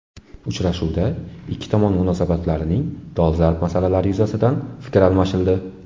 Uchrashuvda ikki tomon munosabatlarining dolzarb masalalari yuzasidan fikr almashildi.